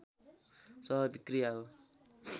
स्वाभाविक क्रिया हो